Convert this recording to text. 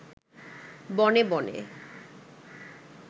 বনে বনে